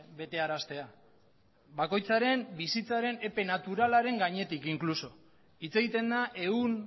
betearaztea bakoitzaren bizitzaren epe naturalaren gainetik inkluso hitz egiten da ehun